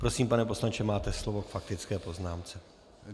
Prosím, pane poslanče, máte slovo k faktické poznámce.